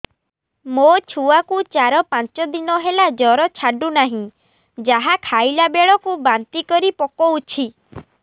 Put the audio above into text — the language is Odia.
ମୋ ଛୁଆ କୁ ଚାର ପାଞ୍ଚ ଦିନ ହେଲା ଜର ଛାଡୁ ନାହିଁ ଯାହା ଖାଇଲା ବେଳକୁ ବାନ୍ତି କରି ପକଉଛି